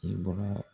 I bɔra